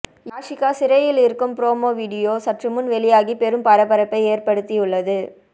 யாஷிகா சிறையில் இருக்கும் promo video சற்றுமுன் வெளியாகி பெரும் பரபரப்பை ஏற்படுத்தியுள்ளது